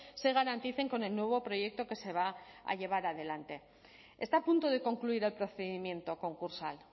se garanticen con el nuevo proyecto que se va a llevar adelante está a punto de concluir el procedimiento concursal